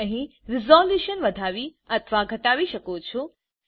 તમે અહી રિસોલ્યુશન વધાવી અથવા ઘટાડી શકો છો